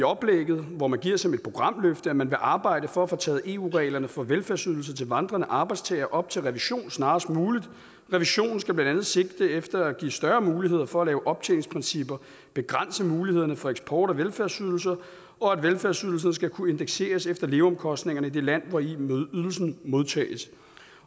oplægget hvor man anfører det som et programløft at man vil arbejde for at få taget eu reglerne for velfærdsydelser til vandrende arbejdstagere op til revision snarest muligt revisionen skal blandt andet sigte efter at give større muligheder for at lave optjeningsprincipper at begrænse mulighederne for eksport af velfærdsydelser og at velfærdsydelserne skal kunne indekseres efter leveomkostningerne i det land hvor ydelsen modtages